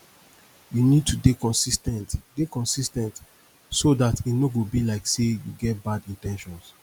you need to dey consis ten t dey consis ten t so dat e no go be like sey you get bad in ten tions